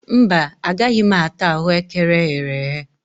Mba, agaghị m ata ahụekere eghere eghe